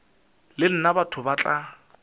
le nna batho ba tla